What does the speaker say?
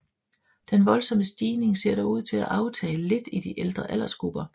Den voldsomme stigning ser dog ud til at aftage lidt i de ældre aldersgrupper